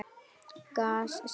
Gas sem leysir